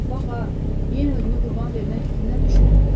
Co, bax ha, yenə özünü qurban vermək fikrinə düşmə.